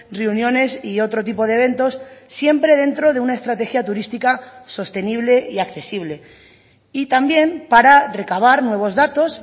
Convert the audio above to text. reuniones y otro tipo de eventos siempre dentro de una estrategia turística sostenible y accesible y también para recabar nuevos datos